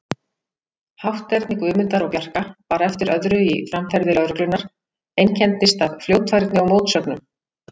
Hátterni Guðmundar og Bjarka var eftir öðru í framferði lögreglunnar, einkenndist af fljótfærni og mótsögnum.